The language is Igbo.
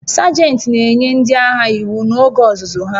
Sajent na-enye ndị agha iwu n'oge ọzụzụ ha